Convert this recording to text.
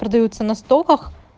продаются на стоках